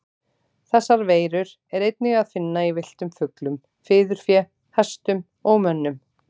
Þessar veirur er einnig að finna í villtum fuglum, fiðurfé, hestum og mönnum.